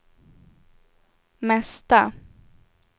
mesta